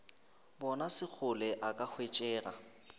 bona sekgole a ka hwetšega